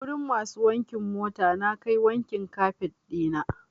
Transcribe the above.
Wurin masu wankin mota nakai wankin kafet ɗina.